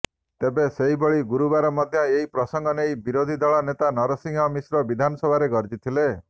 ତେବେ ସେହିଭଳି ଗୁରୁବାର ମଧ୍ୟ ଏହି ପ୍ରସଙ୍ଗ ନେଇ ବିରୋଧୀ ଦଳ ନେତା ନରସିଂହ ମିଶ୍ର ବିଧାନସଭାରେ ଗର୍ଜିଥିଲେ